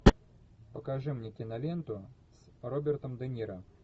покажи мне киноленту с робертом де ниро